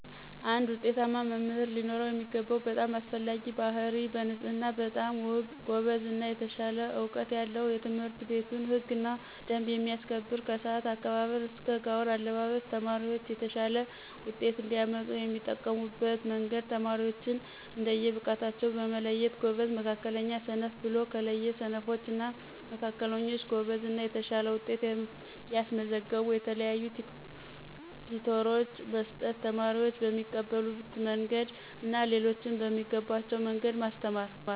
አንድ ውጤታማ መምህር ሊኖረው የሚገባው በጣም አስፈላጊ ባህርይ በንፅህና በጣም ውብ፣ ጎበዝ እና የተሻለ እውቀት ያለው የትምህርትቤቱን ህግና ደንብ የሚያከብር ከስአት አከባበር እስከ ጋውን አለባብስ። ተማሪዎች የተሻለ ውጤት እንዲያመጡ የሚጠቀሙበት መንገድ ተማሪዎችን እንደየ ብቃታቸው መለየት ጎበዝ፣ መካከለኛ፣ ሰነፍ ብሎ ከለየ ስነፎች እና መካከለኞች ጎበዝ እና የተሻለ ውጤት ያስመዘገቡ የተለያዩ ቲቶሮች መስጠት። ተማሪዎች በሚቀበሉት መንግድ እና ሌሎችም በሚገባቸዉ መንገድ ማስተማር።